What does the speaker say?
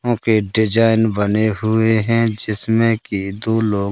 ओं के डिज़ाइन बने हुए हैं जिसमें कि दो लोग--